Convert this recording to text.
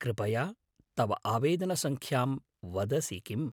कृपया तव आवेदनसङ्ख्यां वदसि किम्‌?